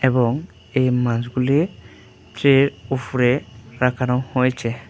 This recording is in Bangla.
এবং এই মাছগুলি ট্রের ওফরে রাখানো হয়েছে।